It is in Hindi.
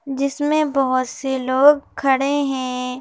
जिसमें बहुत से लोग खड़े हैं।